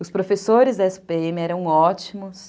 Os professores da esse pê eme eram ótimos.